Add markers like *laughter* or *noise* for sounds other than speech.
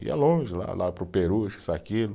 Ia longe, lá para o, *unintelligible* isso e aquilo.